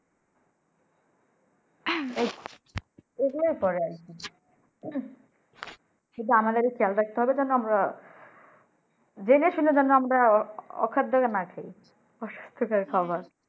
আমাদের খেয়াল রাখতে হবে যেন আমরা যেনে শুনে যেন আমরা ও অখাদ্য না খাই অস্বাস্থ্য খাবার।